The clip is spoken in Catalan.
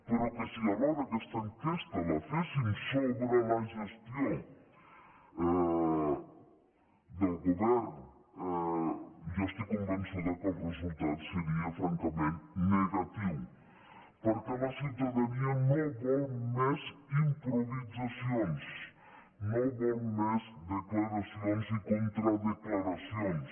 però que si alhora aquesta enquesta la féssim sobre la gestió del govern jo estic convençuda que el resultat seria francament negatiu perquè la ciutadania no vol més improvisacions no vol més declaracions i contradeclaracions